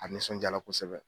A nisɔnjala kosɛbɛ